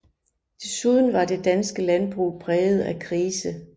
Desuden var det danske landbrug præget af krise